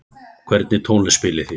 Hvernig tónlist spilið þið?